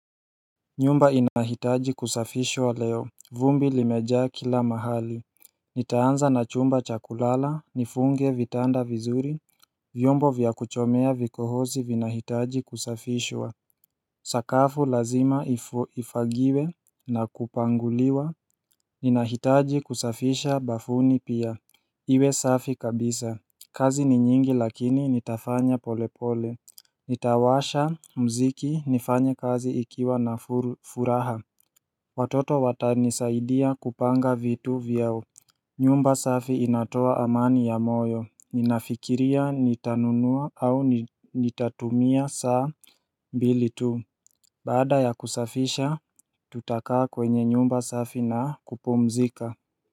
Nyumba inahitaji kusafishwa leo vumbi limejaa kila mahali Nitaanza na chumba cha kulala nifunge vitanda vizuri vyombo vya kuchomea vikohozi vinahitaji kusafishwa Sakafu lazima ifagiwe na kupanguliwa Ninahitaji kusafisha bafuni pia Iwe safi kabisa kazi ni nyingi lakini nitafanya pole pole Nitawasha mziki nifanye kazi ikiwa na furaha Watoto watanisaidia kupanga vitu vyao nyumba safi inatoa amani ya moyo Ninafikiria nitanunua au nitatumia saa mbili tu Baada ya kusafisha tutakaa kwenye nyumba safi na kupumzika.